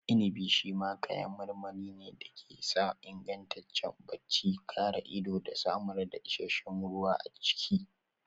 Inibi shi ma kayan marmari ne da ke sa ingantaccen bacci, kare ido da samar da isasshen ruwa a jiki.